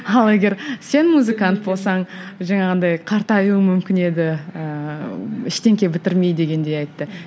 ал егер сен музыкант болсаң жаңағындай қартайуың мүмкін еді ііі ештеңе бітірмей дегендей айтты